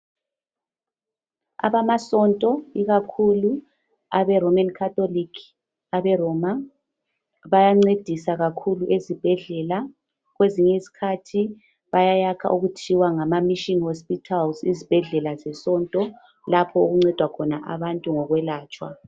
Abamasonto ikakhulu abe Roman Catholic aberoma bayancedisa kakhulu ezibhedlela. Kwezinyiskhathi bayayakha okuthiwa ngamaMission hospitals ezibhedlela zesonto lapho okuncedwa khona abantu ngokwelatshwa.